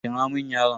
Kira mun yaron.